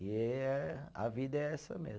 E é, a vida é essa mesmo.